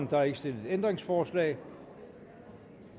der er ikke stillet ændringsforslag